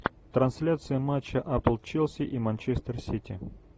трансляция матча апл челси и манчестер сити